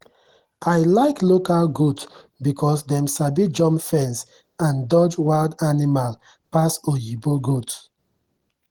i like local goat because dem sabi jump fence and dodge wild animal pass oyinbo goat.